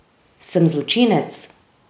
Sem zločinec?